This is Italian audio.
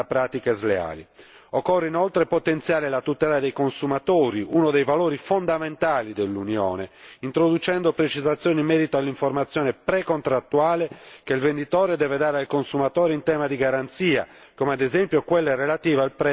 Occorre inoltre potenziare la tutela dei consumatori, uno dei valori fondamentali dell'Unione, introducendo precisazioni in merito all'informazione precontrattuale che il venditore deve dare al consumatore in tema di garanzia, come ad esempio quella relativa al prezzo del trasporto aereo.